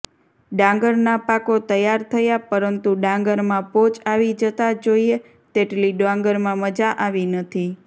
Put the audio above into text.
ડાંગરના પાકો તૈયાર થયા પરંતુ ડાંગરમા પોચ આવી જતા જોઈએ તેટલી ડાંગરમા મજા આવી નથી